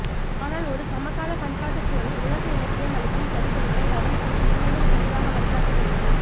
ஆனால் ஒரு சமகாலப் பண்பாட்டுச்சூழலில் உலக இலக்கியம் அளிக்கும் பிரதிபலிப்பை கவனிப்பது இன்னமும் தெளிவாக வழிகாட்டக்கூடியது